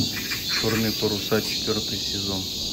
черные паруса четвертый сезон